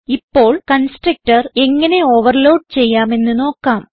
ഇപ്പോൾ കൺസ്ട്രക്ടർ എങ്ങനെ ഓവർലോഡ് ചെയ്യാമെന്ന് നോക്കാം